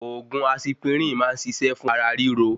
Òògùn asipirin máa n ṣiṣẹ fún ara ríro